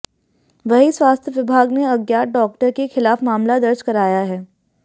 वहीं स्वास्थ्य विभाग ने अज्ञात डॉक्टर के खिलाफ मामला दर्ज कराया है